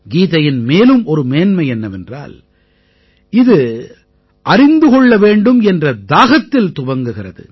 கீதையின் மேலும் ஒரு மேன்மை என்னவென்றால் இது அறிந்து கொள்ள வேண்டும் என்ற தாகத்தில் துவங்குகிறது